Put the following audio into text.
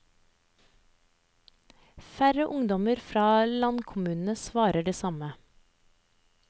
Færre ungdommer fra landkommunene svarer det samme.